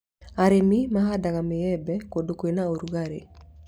Arĩmi mahandaga mĩembe kũndũ kwĩna rũgarĩ